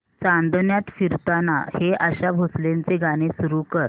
चांदण्यात फिरताना हे आशा भोसलेंचे गाणे सुरू कर